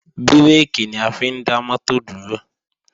Bírèkì ni a fi ń dá mọ́tò dúró